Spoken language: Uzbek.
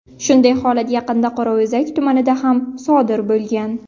Shunday holat yaqinda Qorao‘zak tumanida ham sodir bo‘lgan.